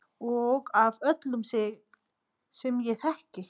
Og af öllum sem ég þekki.